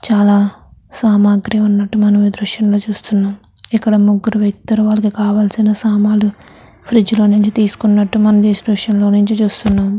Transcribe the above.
చాలా సామగ్రి ఉన్నట్టు మనం ఈ దృశ్యంలో చూస్తున్నాం. ఇక్కడ ముగ్గురు వ్యక్తులు వాళ్ళకి కలవాల్సిన సామాన్లు ఫ్రిడ్జ్ లో నుంచి తీసుకున్నట్టు మనం ఈ దృశ్యం లో నుంచి చూస్తున్నాం.